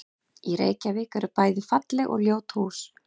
Í Reykjavík eru bæði falleg og ljót hús.